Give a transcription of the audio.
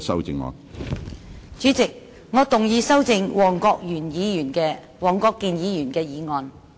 主席，我動議修正黃國健議員的議案。